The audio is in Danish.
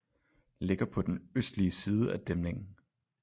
Ligger på den østlige side af dæmningen